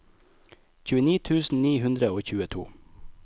tjueni tusen ni hundre og tjueto